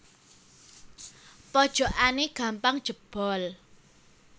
Pojokane gampang jebol